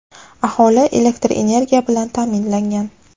aholi elektr energiya bilan ta’minlangan.